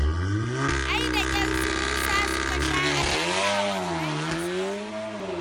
Ai da ƙyar su musa suka sha a jarrabawar nan da suka yi.